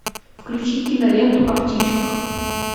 включи киноленту о птичках